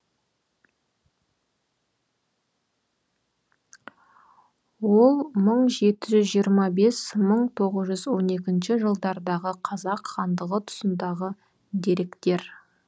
ол мың жеті жүз жиырма бес мың тоғыз жүз он екінші жылдардағы қазақ хандығы тұсындағы деректер